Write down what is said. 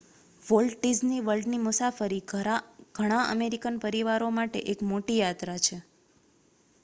volt Disney વર્લ્ડની મુસાફરી ઘણા અમેરિકન પરિવારો માટે એક મોટી યાત્રા છે